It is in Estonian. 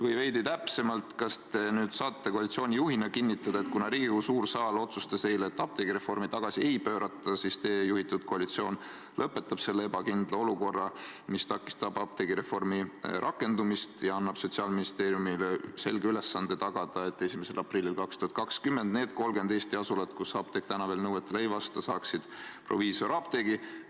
Või veidi täpsemalt, kas te saate koalitsiooni juhina kinnitada, et kuna Riigikogu suur saal otsustas eile, et apteegireformi tagasi ei pöörata, siis teie juhitud koalitsioon lõpetab selle ebakindla olukorra, mis takistab apteegireformi rakendumist, ja annab Sotsiaalministeeriumile selge ülesande tagada, et 1. aprillil 2020 need 30 Eesti asulat, kus apteek veel nõuetele ei vasta, saaksid proviisorapteegi?